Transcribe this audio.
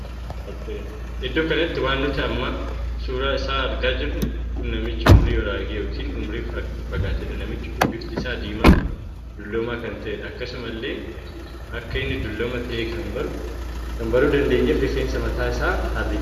Iddoo kanatti waan nuti amma suuraa isaa argaa jirru kun namichaa umurii raage ykn umurii fagaateedha. namichi kun bifti isaa diimaa dulloomaa kan taheedha. akkasuma illee akka inni dulloomaa tahee kan baruu dandeenyeef rifeensa mataa isaatu harriidha.